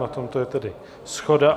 Na tomto je tedy shoda.